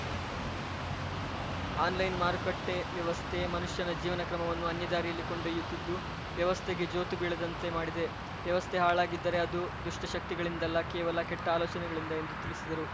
online ಮಾರುಕಟ್ಟೆವ್ಯವಸ್ಥೆ ಮನುಷ್ಯನ ಜೀವನ ಕ್ರಮವನ್ನು ಅನ್ಯದಾರಿಯಲ್ಲಿ ಕೊಂಡೊಯ್ಯತ್ತಿದ್ದು ವ್ಯವಸ್ಥೆಗೆ ಜೋತು ಬೀಳದಂತೆ ಮಾಡಿದೆ ವ್ಯವಸ್ಥೆ ಹಾಳಾಗಿದ್ದರೆ ಅದು ದುಷ್ಟಶಕ್ತಿಗಳಿಂದಲ್ಲ ಕೇವಲ ಕೆಟ್ಟಆಲೋಚನೆಗಳಿಂದ ಎಂದು ತಿಳಿಸಿದರು